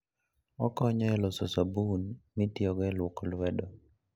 Okonyo e loso sabun mitiyogo e lwoko lwedo.